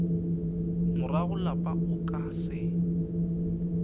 morago lapa o ka se